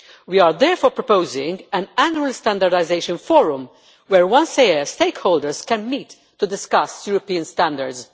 We are therefore proposing an Annual Standardisation Forum where once a year stakeholders can meet to discuss European standards.